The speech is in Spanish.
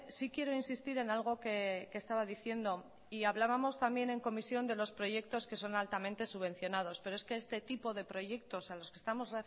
sí quiero insistir en algo que estaba diciendo y hablábamos también en comisión de los proyectos que son altamente subvencionados pero es que este tipo de proyectos a los que estamos